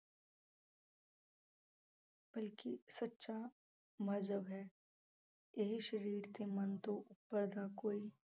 ਬਲਕਿ ਸੱਚਾ ਮਜ਼੍ਹਬ ਹੈ, ਇਹ ਸਰੀਰ ਤੇ ਮਨ ਤੋਂ ਉਪਰ ਦਾ ਕੋਈ